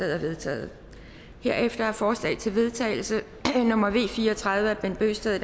er vedtaget herefter er forslag til vedtagelse nummer v fire og tredive af bent bøgsted